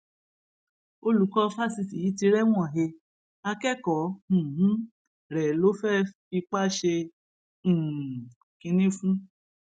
olùkọ fásitì yìí ti rẹwọn he akẹkọọ um rẹ ló fẹẹ fipá ṣe um kínní fún